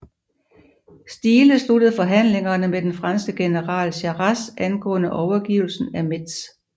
Stiehle sluttede forhandlingerne med den franske general Jarras angående overgivelsen af Metz